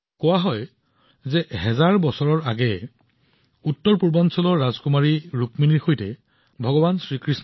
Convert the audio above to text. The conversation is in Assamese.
কোৱা হয় যে হাজাৰ হাজাৰ বছৰ পূৰ্বে ভগৱান কৃষ্ণই উত্তৰপূৰ্বাঞ্চলৰ ৰাজকুমাৰী ৰুক্মিণীৰ সৈতে বিবাহপাশত আৱদ্ধ হৈছিল